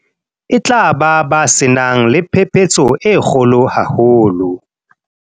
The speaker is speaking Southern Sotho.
e tla ba se nang le phephetso e kgolo haholo.